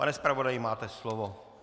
Pane zpravodaji, máte slovo.